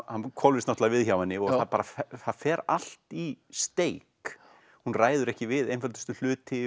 hann hvolfist náttúrulega við hjá henni það fer allt í steik hún ræður ekki við einföldustu hluti